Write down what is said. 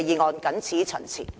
我謹此陳辭。